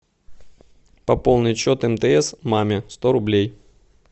пополнить счет мтс маме сто рублей